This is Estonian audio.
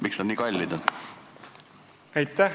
Miks need nii kallid on?